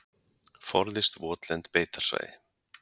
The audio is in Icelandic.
Forðist votlend beitarsvæði.